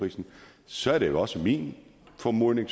og så er det også min formodning